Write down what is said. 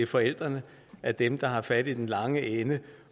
forældrene er dem der har fat i den lange ende